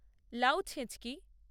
লাউ ছেঁচকি